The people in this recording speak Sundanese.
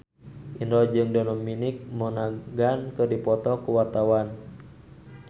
Indro jeung Dominic Monaghan keur dipoto ku wartawan